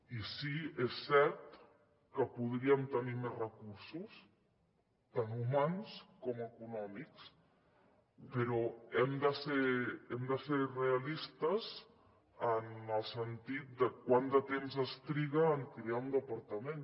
i sí és cert que podríem tenir més recursos tant humans com econòmics però hem de ser realistes en el sentit de quant de temps es triga en crear un departament